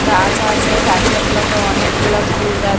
গাছ আছে গাছের লগে অনেকগুলা ফুলগাছ।